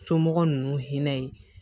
Somɔgɔ ninnu hinɛ ye